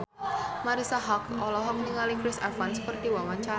Marisa Haque olohok ningali Chris Evans keur diwawancara